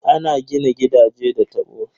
Ana gina gidaje da tabo.